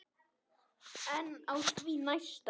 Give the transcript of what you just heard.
En á því næsta?